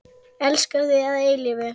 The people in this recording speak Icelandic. Elska þig að eilífu.